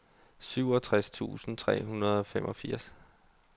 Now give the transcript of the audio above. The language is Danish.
syvogtres tusind tre hundrede og femogfirs